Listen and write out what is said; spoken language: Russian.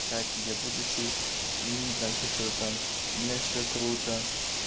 кстати я будущий мм так и что-то там у меня все круто